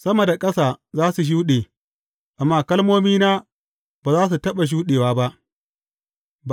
Sama da ƙasa za su shuɗe, amma kalmomina ba za su taɓa shuɗewa ba.